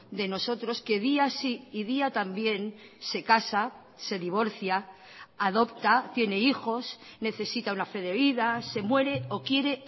de nosotros que día sí y día también se casa se divorcia adopta tiene hijos necesita una fe de vida se muere o quiere